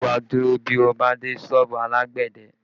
Ṣé wá dúró bí o bá dé sọ́ọ̀bù alágbẹ̀dẹ?